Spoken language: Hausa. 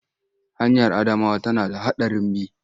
Hanyar Adamawa tana da haɗarin bi.